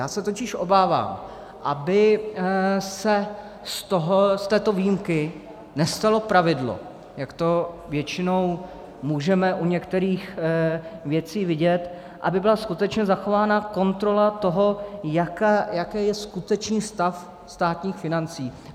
Já se totiž obávám, aby se z této výjimky nestalo pravidlo, jak to většinou můžeme u některých věcí vidět, aby byla skutečně zachována kontrola toho, jaký je skutečný stav státních financí.